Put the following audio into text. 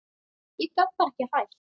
Ég gat bara ekki hætt.